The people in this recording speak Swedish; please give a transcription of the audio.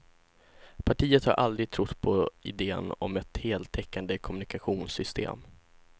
Partiet har aldrig trott på iden om ett heltäckande kommunikationssystem.